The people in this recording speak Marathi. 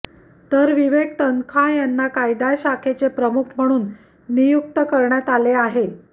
तर विवेक तन्खा यांनी कायदा शाखेचे प्रमुख म्हणून नियुक्त करण्यात आले आहे